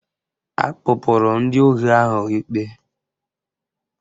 Akpụpụrụ ndị ohi ahụ ikpe